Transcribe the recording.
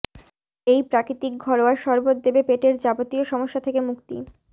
এই প্রাকৃতিক ঘরোয়া শরবত দেবে পেটের যাবতীয় সমস্যা থেকে মুক্তি